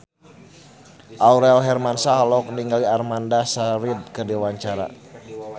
Aurel Hermansyah olohok ningali Amanda Sayfried keur diwawancara